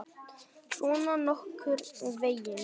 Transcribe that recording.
Svona nokkurn veginn.